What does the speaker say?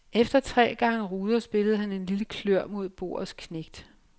Efter tre gange ruder spillede han en lille klør mod bordets knægt.